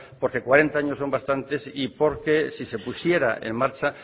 porque cuarenta años son bastantes y porque si se pusiera en marcha